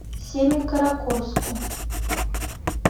семикаракорску